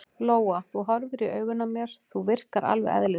Lóa: Þú horfir í augun á mér, þú virkar alveg eðlileg?